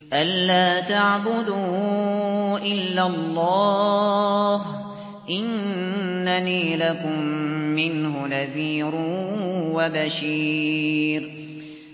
أَلَّا تَعْبُدُوا إِلَّا اللَّهَ ۚ إِنَّنِي لَكُم مِّنْهُ نَذِيرٌ وَبَشِيرٌ